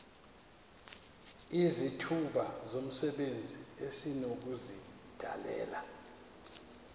izithuba zomsebenzi esinokuzidalela